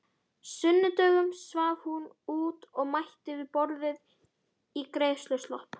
sunnudögum svaf hún út og mætti við borðið í greiðsluslopp.